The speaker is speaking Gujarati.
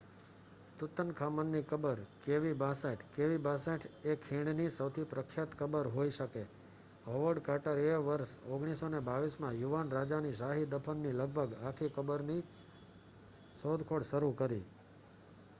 તુતનખામન ની કબર kv 62. kv 62 એ ખીણ ની સૌથી પ્રખ્યાત કબર હોઈ શકે હોવર્ડ કાર્ટર એ વર્ષ 1922 માં યુવાન રાજા ની શાહી દફન ની લગભગ આખી કબરની શોધખોળ શરુ કરી